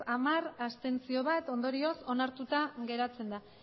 hamar abstentzioak bat